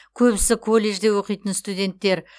көбісі колледжде оқитын студенттер